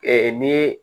Ee ni